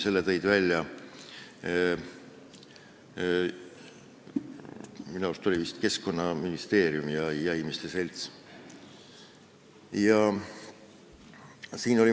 Selle tõid minu arust välja Keskkonnaministeerium ja jahimeeste selts.